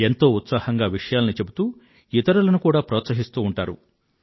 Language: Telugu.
ఎంతో ఉత్సాహంగా విషయాలను చెప్తూ ఇతరులనూ కూడా ప్రోత్సహిస్తూ ఉంటారు